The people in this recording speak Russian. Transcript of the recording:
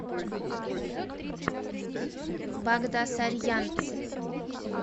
багдасарьянц